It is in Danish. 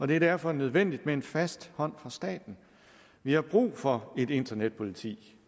det er derfor nødvendigt med en fast hånd fra staten vi har brug for et internetpoliti